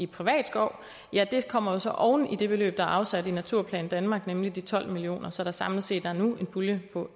privat skov kommer jo så oven i det beløb der er afsat i naturplan danmark nemlig de tolv million kr så der samlet set nu er en pulje på